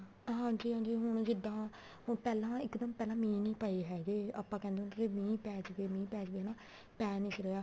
ਹਾਂਜੀ ਹਾਂਜੀ ਹੁਣ ਜਿੱਦਾਂ ਪਹਿਲਾਂ ਇੱਕਦਮ ਪਹਿਲਾਂ ਮੀਂਹ ਨੀ ਪਏ ਹੈਗੇ ਆਪਾਂ ਕਹਿੰਦੇ ਹੁੰਦੇ ਸੀ ਮੀਂਹ ਪੈ ਜਾਵੇ ਪੈ ਜਾਵੇ ਹਨਾ ਪੈ ਨਹੀਂ ਸੀ ਰਿਹਾ